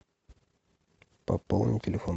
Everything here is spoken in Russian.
пополни телефон